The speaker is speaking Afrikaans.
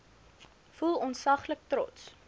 voel ontsaglik trots